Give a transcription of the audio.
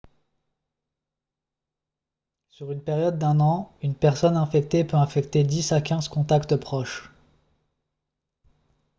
sur une période d'un an une personne infectée peut infecter 10 à 15 contacts proches